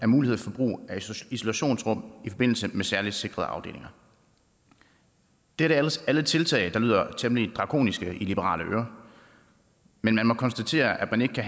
mulighed for brug af isolationsrum i forbindelse med særligt sikrede afdelinger det er alle tiltag der lyder temmelig drakoniske i liberale ører men man må konstatere at man ikke